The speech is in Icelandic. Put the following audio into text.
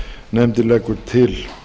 nefndin leggur til